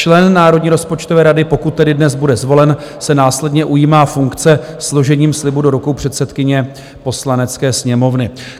Člen Národní rozpočtové rady, pokud tedy dnes bude zvolen, se následně ujímá funkce složením slibu do rukou předsedkyně Poslanecké sněmovny.